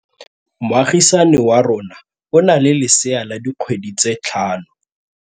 Moagisane wa rona o na le lesea la dikgwedi tse tlhano.